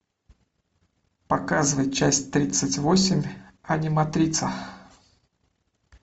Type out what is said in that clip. показывай часть тридцать восемь аниматрица